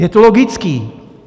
Je to logické.